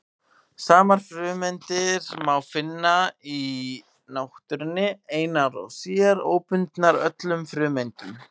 Sumar frumeindir má finna í náttúrunni einar sér, óbundnar öðrum frumeindum.